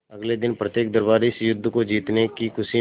अगले दिन प्रत्येक दरबारी इस युद्ध को जीतने की खुशी में